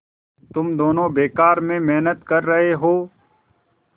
तुम दोनों बेकार में मेहनत कर रहे हो